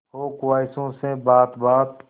हो ख्वाहिशों से बात बात